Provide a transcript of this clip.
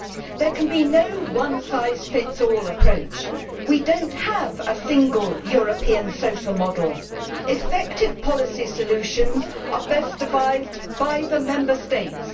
There can be no one-size-fits-all approach. We do not have a single European social model. Effective policy solutions are best devised by the Member States.